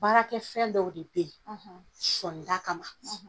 Baarakɛ fɛn dɔw de bɛ yen sɔni da kama